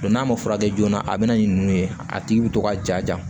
n'a ma furakɛ joona a bɛna ɲi nu ye a tigi bi to ka ja